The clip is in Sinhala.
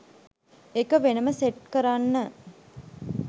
ඒක වෙනම සෙට් කරන්න.